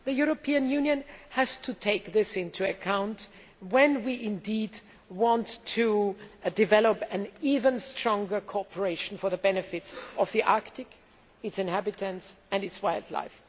The European Union has to take this into account when we want to develop even stronger cooperation for the benefit of the Arctic, its inhabitants and its wildlife.